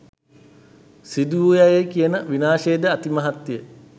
සිදුවූවායයි කියන විනාශයද අතිමහත්ය.